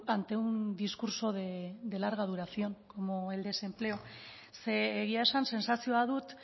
ante un discurso de larga duración como el desempleo ze egia esan sentsazioa dut